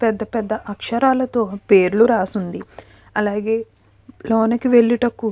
పెద్ద అక్షరాలతో పేర్లు రాసి ఉంది. అలాగే రోనెక్కే వెళ్ళేటకు --